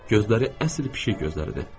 Gözləri əsl pişik gözləridir.